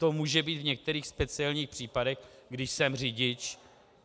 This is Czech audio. To může být v některých speciálních případech, když jsem řidič.